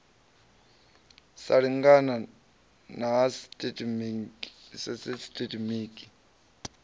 sa lingana na ha sisitemetiki